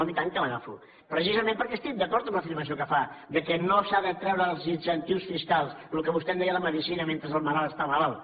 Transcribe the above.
home i tant que l’agafo precisament perquè estic d’acord amb l’afirmació que fa que no s’ha de treure els incentius fiscals el que vostè en deia la medicina mentre el malalt està malalt